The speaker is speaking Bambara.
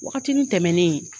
Wagatini tɛmɛnnen